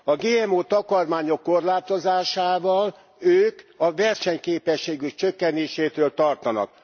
A GMO takarmányok korlátozásával ők a versenyképességük csökkenésétől tartanak.